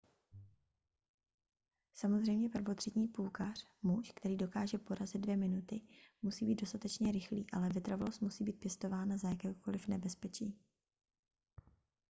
samozřejmě prvotřídní půlkař muž který dokáže porazit dvě minuty musí být dostatečně rychlý ale vytrvalost musí být pěstována za jakéhokoliv nebezpečí